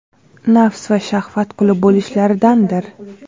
nafs va shahvat quli bo‘lishlaridandir.